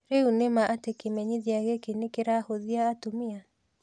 Rĩu nĩma atĩ kĩmenyithia gĩkĩ nĩkĩrahũthia atumia?